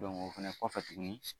o fɛnɛ kɔfɛ tuguni